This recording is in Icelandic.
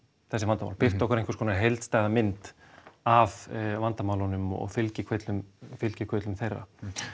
þessi vandamál birta okkur einhvers konar heildstæða mynd af vandamálunum og fylgikvillum fylgikvillum þeirra